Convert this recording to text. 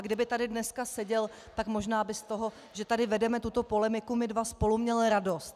A kdyby tady dneska seděl, tak možná by z toho, že tady vedeme tuto polemiku my dva spolu, měl radost.